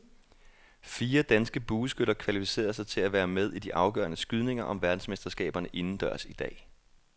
Fire danske bueskytter kvalificerede sig til at være med i de afgørende skydninger om verdensmesterskaberne indendørs i dag.